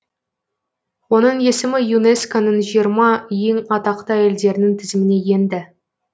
оның есімі юнеско ның жиырма ең атақты әйелдерінің тізіміне енді